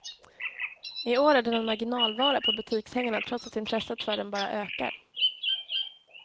I år är den en marginalvara på butikshängarna trots att intresset för den bara ökar.